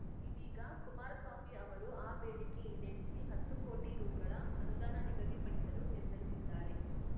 ಇದೀಗ ಕುಮಾರಸ್ವಾಮಿ ಅವರು ಆ ಬೇಡಿಕೆ ಈಡೇರಿಸಿ ಹತ್ತು ಕೋಟಿ ರುಗಳ ಅನುದಾನ ನಿಗದಿಪಡಿಸಲು ನಿರ್ಧರಿಸಿದ್ದಾರೆ